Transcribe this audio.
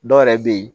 Dɔw yɛrɛ bɛ yen